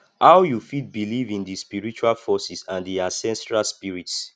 how you fit believe in di spiritual forces and di ancestral spirits